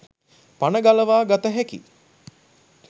පණ ගලවා ගත හැකි